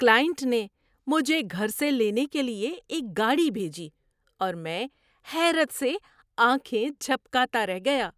‏Client نے مجھے گھر سے لینے کے لیے ایک گاڑی بھیجی اور میں حیرت سے آنکھیں جھپکاتا رہ گیا۔